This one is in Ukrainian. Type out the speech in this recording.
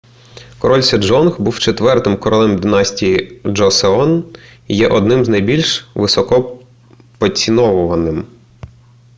король седжонг був четвертим королем династії джосеон і є одним з найбільш високо поціновуваним